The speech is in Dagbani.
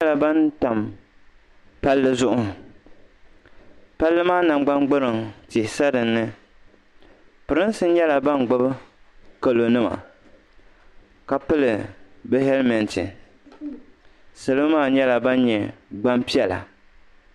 Niriba nyɛla ban tam palli zuɣu palli maa nangban gburiŋ tihi sa dinni pirinsi nyɛla ban gbubi kalonima ka pili bɛ hɛlmɛnti salo maa nyɛla ban nyɛ gbampiɛla